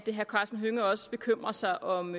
herre karsten hønge også bekymrer sig om